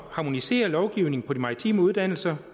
harmonisere lovgivningen på de maritime uddannelser